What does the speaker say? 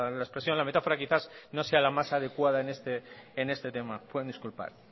la expresión la metáfora quizás no sea la más adecuada en este tema pueden disculpar